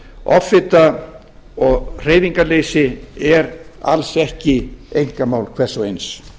offita og hreyfingarleysi er alls ekki einkamál hvers og eins